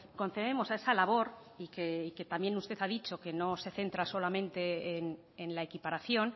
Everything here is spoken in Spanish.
concedemos a esa labor y que también usted ha dicho que no se centra solamente en la equiparación